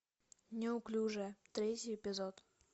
неуклюжая третий эпизод